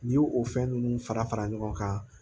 N'i y'o o fɛn ninnu fara fara ɲɔgɔn kan